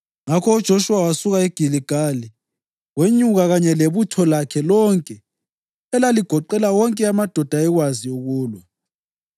Ngakho uJoshuwa wasuka eGiligali, wenyuka kanye lebutho lakhe lonke, elaligoqela wonke amadoda ayekwazi ukulwa.